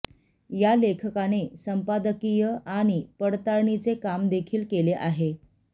या लेखकाने संपादकीय आणि पडताळणीचे काम देखील केले आहे